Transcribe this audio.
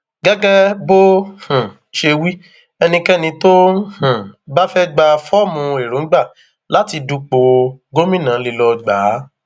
gẹgẹ bó um ṣe wí ẹnikẹni tó um bá fẹẹ gba fọọmù èròǹgbà láti dúpọ gómìnà lé lọọ gbà á